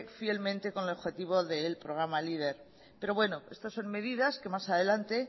fielmente con el objetivo del programa leader pero bueno esto son medidas que más adelante